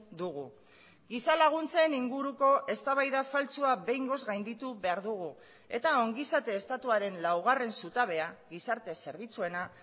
dugu giza laguntzen inguruko eztabaida faltsua behingoz gainditu behar dugu eta ongizate estatuaren laugarren zutabea gizarte zerbitzuena